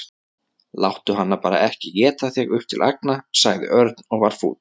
Láttu hana bara ekki éta þig upp til agna sagði Örn og var fúll.